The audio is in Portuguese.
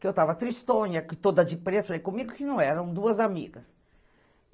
Que eu tava tristonha, toda de preto, foi comigo que não eram, duas amigas.